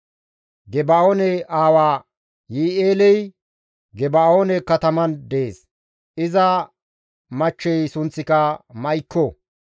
Geba7oone aawa Yi7i7eeley Geba7oone kataman dees; iza machchey sunththika Ma7ikko.